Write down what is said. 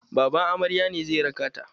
Baban amaryan ne zai raka ta.